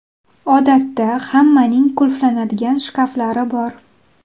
Odatda hammaning qulflanadigan shkaflari bor.